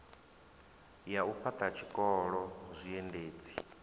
ya u fhaṱha zwikolo zwiendedzi